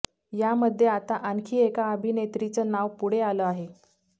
यामध्ये आता आणखी एका अभिनेत्रीचं नाव पुढे आलं आहे